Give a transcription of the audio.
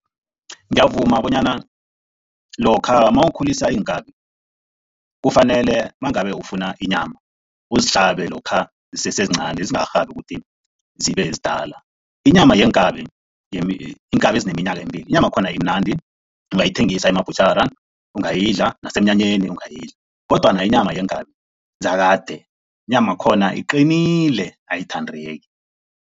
Ngiyavuma bonyana lokha mawukhulisa iinkabi kufanele mangabe ufuna inyama, uzihlabe lokha zisesezincani zingarhabi ukuthi zibezidala. Inyama yeenkabi iinkabi ezineminyaka emibili, inyamakhona imnandi ungayithengisa emabhutjhara, ungayidla nasemnyanyeni ungayidla kodwana inyama yeenkabi zakade inyamakhona iqinile ayithandeki.